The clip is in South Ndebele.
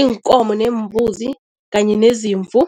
iinkomo neembuzi kanye nezimvu.